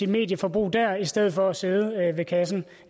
medieforbrug der i stedet for at sidde ved kassen